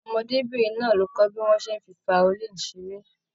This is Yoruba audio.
Ọmọdébinrin náà kọ bí wọn ṣe n fí faolini seré.